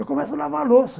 Eu começo a lavar a louça.